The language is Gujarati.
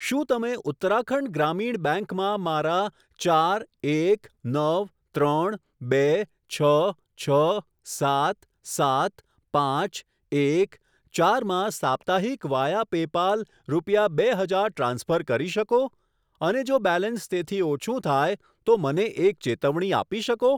શું તમે ઉત્તરાખંડ ગ્રામીણ બેંક માં મારા ચાર એક નવ ત્રણ બે છ છ સાત સાત પાંચ એક ચાર માં સાપ્તાહિક વાયા પેપાલ રૂપિયા બે હજાર ટ્રાન્સફર કરી શકો અને જો બેલેન્સ તેથી ઓછું થાય તો મને એક ચેતવણી આપી શકો?